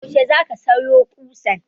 Yaushe za ka sayo ƙusan?